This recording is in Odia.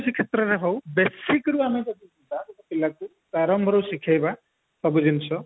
କ୍ଷତ୍ରରେ ହଉ basic ରୁ ଆମେ ଯଦି ଯିବ ଗୋଟେ ପିଲା କୁ ଆରମ୍ଭରୁ ଶିଖେଇବା ସବୁ ଜିନିଷ